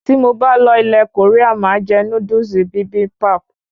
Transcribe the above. Tí mo bá lọ ilè Korea máà jé Núdúsì Bibimbap